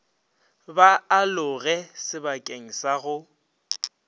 ba aloge sebakeng sa go